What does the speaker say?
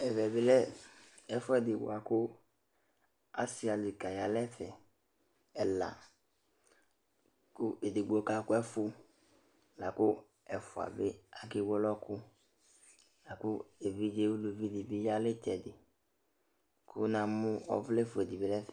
Ɛvɛ bɩ lɛ ɛfʋɛdɩ bʋa kʋ asɩ adekǝ ya nʋ ɛfɛ ɛla kʋ edigbo kakʋ ɛfʋ la kʋ ɛfʋa bɩ akewele ɔɣɔkʋ la kʋ evidze uluvi dɩ bɩ ya nʋ ɩtsɛdɩ kʋ namʋ ɔvlɛfue dɩ bɩ nʋ ɛfɛ